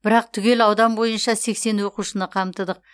бірақ түгел аудан бойынша сексен оқушыны қамтыдық